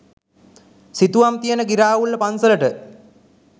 සිතුවම් තියෙන ගිරාඋල්ල පන්සලට.